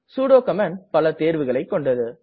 sudo command பல தேர்வுகளைக் கொண்டது